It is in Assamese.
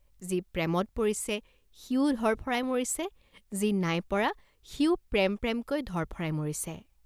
যি প্ৰেমত পৰিছে সিও ধৰফৰাই মৰিছে, যি নাই পৰা সিও প্ৰেম প্ৰেমকৈ ধৰফৰাই মৰিছে।